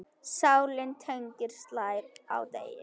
Sláninn teiginn slær á degi.